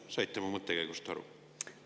Saite mu mõttekäigust aru?